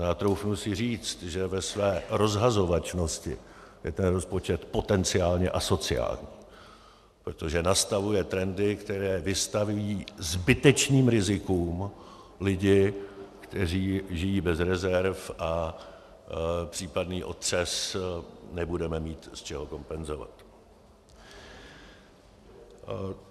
A troufnu si říct, že ve své rozhazovačnosti je ten rozpočet potenciálně asociální, protože nastavuje trendy, které vystavují zbytečným rizikům lidi, kteří žijí bez rezerv, a případný otřes nebudeme mít z čeho kompenzovat.